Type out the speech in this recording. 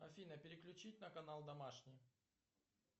афина переключить на канал домашний